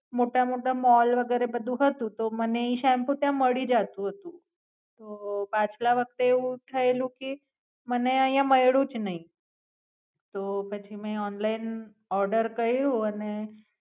મોટો મોતા મોલ વગેરે બધું હતું તો મને ઈ શેમ્પુ ત્યાં મળી જતું હતું, તો પાછલા વખતે એવું થયેલું કે મને આયા મયલુજ નાય, તો પછી મેં Online Order કયૃ અને.